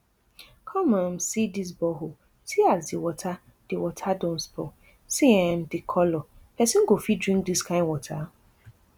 come um see dis borehole see as di water di water don spoil see um di colour pesin go fit drink dis kain water